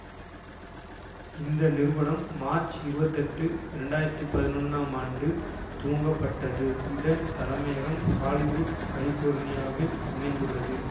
இந்த நிறுவனம் மார்ச் இருபத்தி எட்டு இரண்டு ஆயிரத்தி பதினொன்னாம் ஆண்டு துவங்கப்பட்டது இதன் தலைமையகம் ஹாலிவுட் கலிபோர்னியாவில் அமைந்துள்ளது